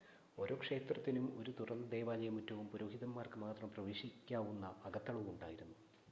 ഓരോ ക്ഷേത്രത്തിനും ഒരു തുറന്ന ദേവാലയ മുറ്റവും പുരോഹിതന്മാർക്ക് മാത്രം പ്രവേശിക്കാവുന്ന അകത്തളവും ഉണ്ടായിരുന്നു